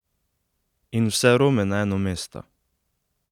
In vse Rome na eno mesto?